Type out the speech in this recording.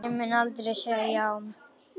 Ég mun aldrei segja já.